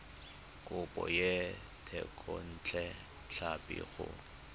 kopo ya thekontle tlhapi go